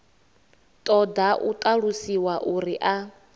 ṱoḓa u ṱalusiwa uri a